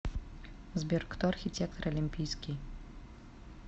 сбер кто архитектор олимпийский